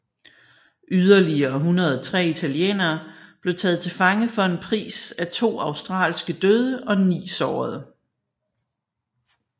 Yderligere 103 italienere blev taget til fange for en pris af to australske døde og ni sårede